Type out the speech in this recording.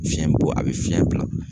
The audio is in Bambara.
Fiɲɛ b'o a bɛ fiɲɛ bila.